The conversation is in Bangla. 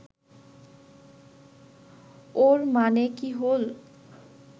ওর মানে কি হোল